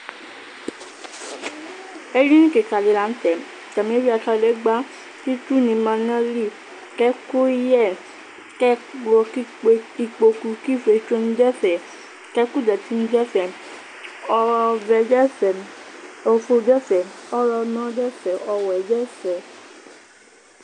Edini kika di la n'tɛ, atani eyuia kadegba, k'itsuni ma n'ayili, k'ɛkʋyɛ, k'ɛkplɔ, k'ikpoku, k'ifietsoni dʋ ɛfɛ, k'ɛkʋ zati ni dʋ ɛfɛ Ɔvɛ dʋ ɛfɛ, ofue dʋ ɛfɛ, ɔɣlɔmɔ dʋ ɛfɛ, ɔwɛ dʋ ɛfɛ